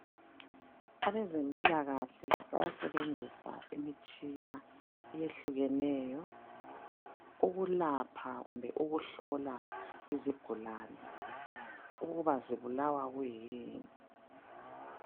Abezempilakahle bayasebenzisa imitshina eyehlukeneyo ukulapha kumbe ukuhlola izigulane ukuba zibulawa kuyini.